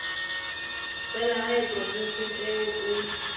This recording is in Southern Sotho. tsa lehae provinseng eo o